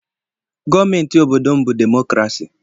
Gọọmentị obodo m bụ demokrasi.